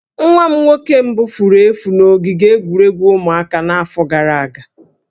Nwa m nwoke mbụ furu efu na ogige egwuregwu ụmụaka n'afọ gara aga